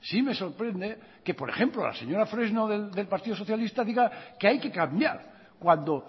sí me sorprende que por ejemplo la señora fresno del partido socialista diga que hay que cambiar cuando